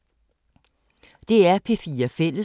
DR P4 Fælles